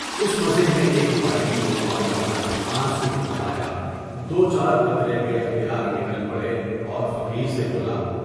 اس مزے میں ایک بارگی وہ نوجوان آنسو بھر لایا دو چار قطرے بے اختیار نکل پڑے اور فقیر سے بولا۔